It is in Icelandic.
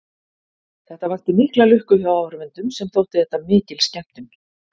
Þetta vakti mikla lukku hjá áhorfendum sem þótti þetta mikil skemmtun.